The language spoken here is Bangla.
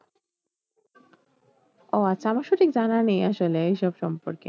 ও আচ্ছা আমার সঠিক জানা নেই আসলে এই সব সম্পর্কে